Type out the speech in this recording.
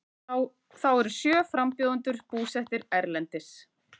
Þá eru sjö frambjóðendur búsettir erlendis